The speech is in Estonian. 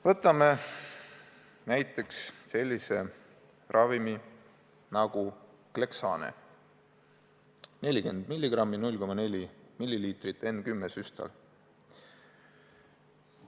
Võtame sellise ravimi nagu Clexane – 40 mg, 0,4 ml, N10 süstal.